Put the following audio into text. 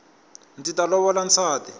ndzi ta lovola nsati